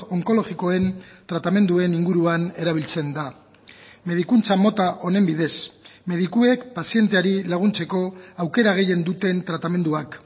onkologikoen tratamenduen inguruan erabiltzen da medikuntza mota honen bidez medikuek pazienteari laguntzeko aukera gehien duten tratamenduak